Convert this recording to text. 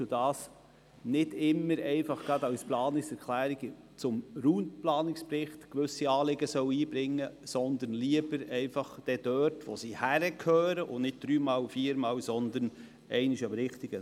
Es wäre sinnvoll, wenn die Planungserklärungen dann dort eingereicht würden, wo sie hingehören und nicht hier zum Raumplanungsbericht.